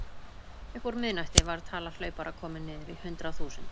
Upp úr miðnætti var tala hlaupara komin niður í hundrað þúsund.